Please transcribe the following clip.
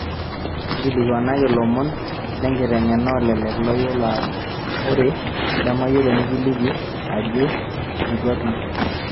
nkilikuanaki lomon lenkitengena olelek layiolo ore lamayiolo nikiliki ajo eitu atum